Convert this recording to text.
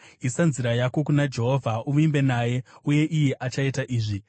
Isa nzira yako kuna Jehovha; uvimbe naye uye iye achaita izvi;